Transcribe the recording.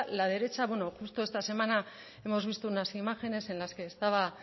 la derecha bueno justo esta semana hemos visto unas imágenes en las que estaba